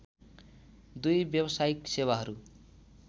दुई व्यावसायिक सेवाहरू